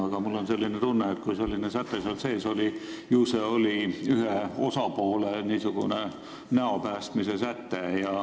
Samas mul on tunne, et kui selline säte seal sees on, ju see on ühe osapoole n-ö näo päästmise säte.